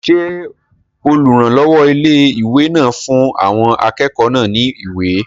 Ṣé olùrànlọ́wọ́ ilé-ìwé náà fún àwọn akẹ́kọ̀ọ́ náà ní ìwé?